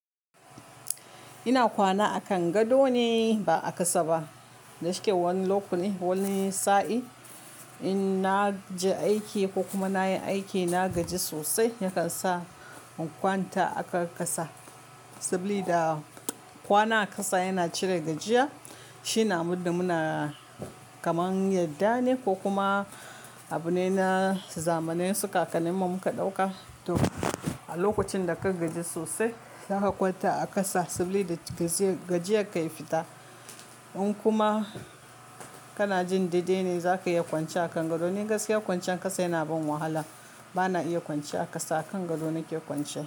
Ina kwana a kangaɗo ne ba a ƙasa ba. Da shike wani lokuni wani sa'in in na ji aiki ko kuma na yi aiki na gaji sosai yakan sa in kwanta akan ƙasa. Saboda kwana a ƙasa yana cire gajiya. Shi ne abunda muna kamar yadda ne ko kuma abune na zamanai su kakannin mu muka ɗauka. To a lokacin da ka gaji sosai zaka kwanta a ƙasa saboda gajiya ka yi fita. In kuma kana jin daidai ne zaka iya kwanciya akan gangado. Ni gaskiya kwanciyan ƙasa yana ban wahala. Ba na iya kwance a ƙasa a gangado nake kwanciya.